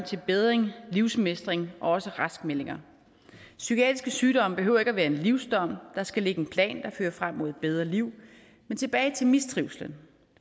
bedring livsmestring og også raskmeldinger psykiatriske sygdomme behøver ikke at være en livsdom der skal ligge en plan der fører frem mod et bedre liv men tilbage til mistrivslen